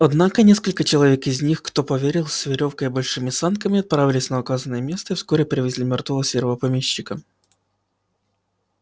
однако несколько человек из них кто поверил с верёвкой и большими санками отправились на указанное место и вскоре привезли мёртвого серого помещика